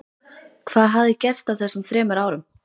Hvað hafði gerst á þessum þremur árum?